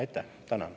Aitäh!